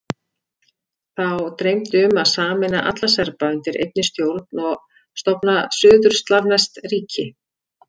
Þá dreymdi um að sameina alla Serba undir einni stjórn og stofna suður-slavneskt ríki.